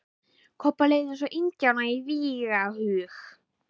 Kobba leið eins og indjána í vígahug.